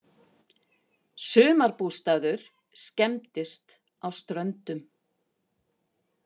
Sumarbústaður skemmdist á Ströndum